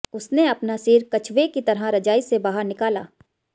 उसने अपना सिर कछुवे की तरह रजाई से बाहर निकाला